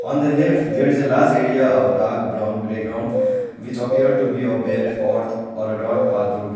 on the left there is a large area of dark brown grey ground which appear to be a bare earth or a dirt path road.